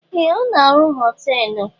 Ee! Ọ na-arụ họteelụ.